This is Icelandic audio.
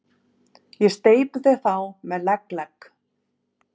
Ég steypi þér þá með legg, legg